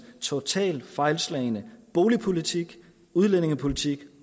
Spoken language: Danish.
totalt fejlslagne boligpolitik udlændingepolitik